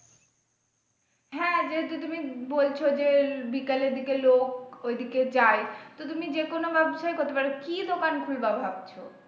হ্যাঁ যেহেতু তুমি বলছো যে বিকালের দিকে লোক ওইদিকে যাই তো তুমি যেকনো ব্যবসায় করতে পারো কি দোকান খুলবা ভাবছো?